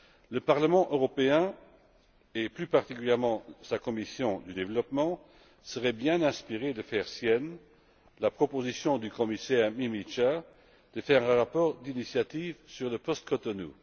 Le Parlement européen, et plus particulièrement sa commission du développement, serait bien inspiré de faire sienne la proposition du commissaire Mimica de faire un rapport d'initiative sur le post Cotonou.